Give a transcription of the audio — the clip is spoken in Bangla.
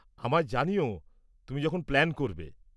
আমায় জানিও তুমি যখন প্ল্যান করবে।